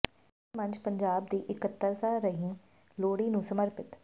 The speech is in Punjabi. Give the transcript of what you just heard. ਗ਼ਜ਼ਲ ਮੰਚ ਪੰਜਾਬ ਦੀ ਇਕੱਤਰਤਾ ਰਹੀ ਲੋਹੜੀ ਨੂੰ ਸਮਰਪਿਤ